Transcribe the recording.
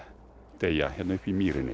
deyja hérna uppi í mýrinni